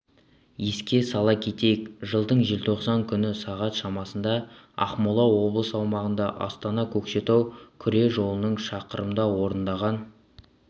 еске сала кетейік жылдың желтоқсан күні сағат шамасында ақмола облысы аумағында астана-көкшетау күре жолының шақырымда ондаған